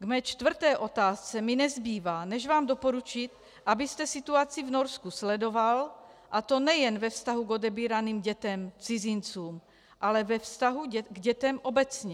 K mé čtvrté otázce mi nezbývá, než vám doporučit, abyste situaci v Norsku sledoval, a to nejen ve vztahu k odebíraným dětem, cizincům, ale ve vztahu k dětem obecně.